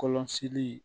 Kɔlɔsili